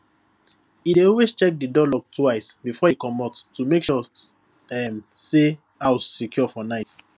e dey always check the door locks twice before e comot to make sure um say house secure for night